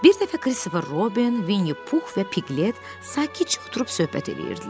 Bir dəfə Christopher Robin, Vinnie Pux və Piqlet sakitcə oturub söhbət eləyirdilər.